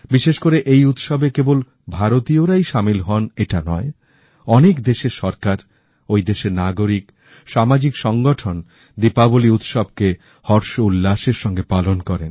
বিশেষ করে এই উৎসবে কেবল ভারতীয়রাই সামিল হন এটা নয় অনেক দেশের সরকার ঐ দেশের নাগরিক সামাজিক সংগঠন দীপাবলি উৎসবকে হর্ষ উল্লাসের সঙ্গে পালন করে